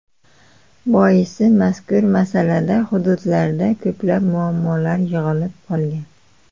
Boisi, mazkur masalada hududlarda ko‘plab muammolar yig‘ilib qolgan.